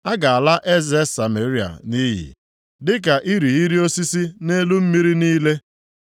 A ga-ala eze Sameria nʼiyi dịka irighiri osisi nʼelu mmiri niile,